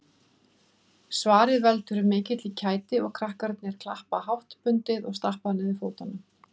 Svarið veldur mikilli kæti og krakkarnir klappa háttbundið og stappa niður fótunum